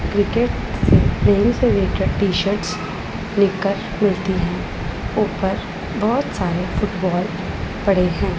Wicket T shirts मिलती हैं ऊपर बहोत सारे फुटबॉल पड़े हैं।